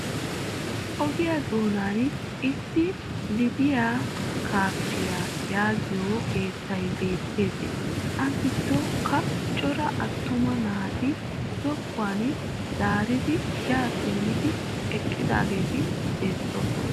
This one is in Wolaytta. Ogiya doonan issi " lidiya kaffiya" yaagiyo keettay beettes. A giddonkka cora attuma naati zokkuwan zaaridi yaa simmidi eqqidaageeti beettoosona.